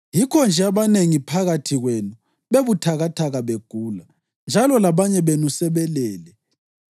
Yikho-nje abanengi phakathi kwenu bebuthakathaka begula, njalo labanye benu sebelele.